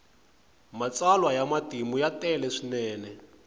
matsalwa ya matimu ya tele swinene